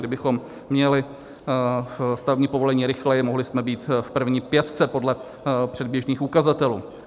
Kdybychom měli stavební povolení rychleji, mohli jsme být v první pětce podle předběžných ukazatelů.